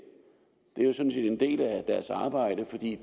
er jo sådan set en del af deres arbejde for de er